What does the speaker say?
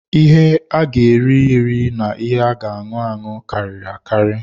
Ihe a ga eri-eri na ihe a ga aṅụ anụ karịrị akari.